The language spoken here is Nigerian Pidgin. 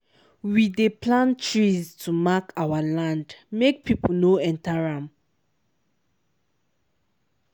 we dey plant trees to mark our land make people no enter am.